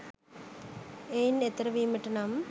එයින් එතෙර වීමට නම්